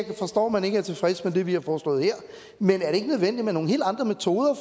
man ikke er tilfreds med det vi har foreslået her med nogle helt andre metoder